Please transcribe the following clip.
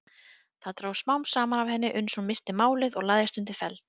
Þá dró smám saman af henni uns hún missti málið og lagðist undir feld.